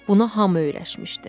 Buna hamı öyrəşmişdi.